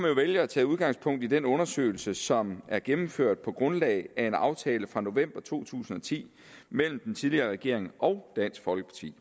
jo vælge at tage udgangspunkt i den undersøgelse som er gennemført på grundlag af en aftale fra november to tusind og ti mellem den tidligere regering og dansk folkeparti